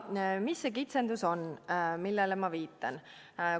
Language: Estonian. Mis see kitsendus on, millele ma viitan?